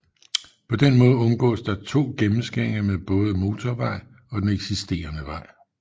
På den måde undgås der to gennemskæringer med både motorvej og den eksisterende vej